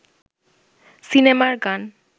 সিনেমার গান